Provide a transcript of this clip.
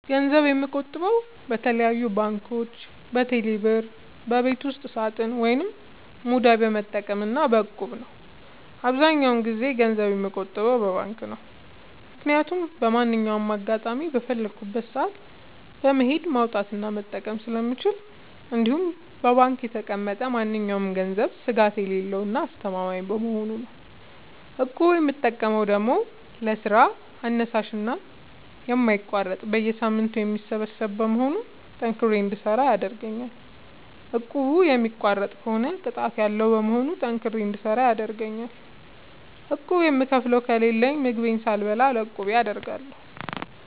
ገንዘብ የምቆጥበው በተለያዩ ባንኮች÷በቴሌ ብር ÷በቤት ውስጥ ሳጥን ወይም ሙዳይ በመጠቀም እና በ እቁብ ነው። አብዛኛውን ጊዜ ገንዘብ የምቆጥበው በባንክ ነው። ምክያቱም በማንኛውም አጋጣሚ በፈለኩት ሰአት በመሄድ ማውጣት እና መጠቀም ስለምችል እንዲሁም በባንክ የተቀመጠ ማንኛውም ገንዘብ ስጋት የሌለው እና አስተማማኝ በመሆኑ ነው። እቁብ የምጠቀመው ደግሞ ለስራ አነሳሽና የማይቋረጥ በየሳምንቱ የሚሰበሰብ በመሆኑ ጠንክሬ እንድሰራ ያደርገኛል። እቁቡን የሚቋርጥ ከሆነ ቅጣት ያለዉ በመሆኑ ጠንክሬ እንድሰራ ይረደኛል። ቁብ የምከፍለው ከሌለኝ ምግቤን ሳልበላ ለቁቤ አደርጋለሁ።